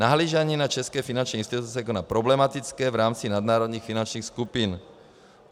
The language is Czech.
Nahlížení na české finanční instituce jako na problematické v rámci nadnárodních finančních skupin.